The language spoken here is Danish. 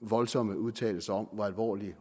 voldsomme udtalelser om hvor alvorligt